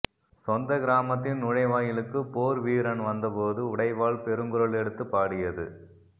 சொந்த கிராமத்தின் நுழைவாயிலுக்குப் போர்வீரன் வந்த போது உடைவாள் பெருங்குரலெடுத்துப் பாடியது